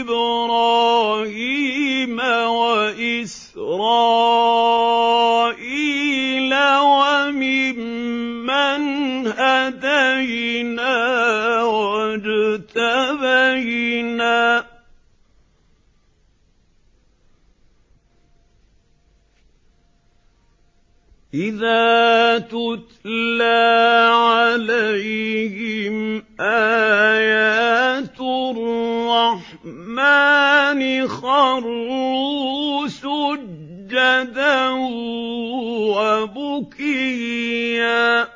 إِبْرَاهِيمَ وَإِسْرَائِيلَ وَمِمَّنْ هَدَيْنَا وَاجْتَبَيْنَا ۚ إِذَا تُتْلَىٰ عَلَيْهِمْ آيَاتُ الرَّحْمَٰنِ خَرُّوا سُجَّدًا وَبُكِيًّا ۩